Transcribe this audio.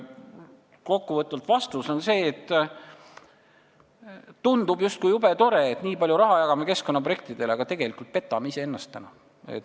Kokkuvõtvalt on vastus selline, et kõik tundub justkui jube tore – me jagame nii palju raha keskkonnaprojektidele –, aga tegelikult me petame täna iseennast.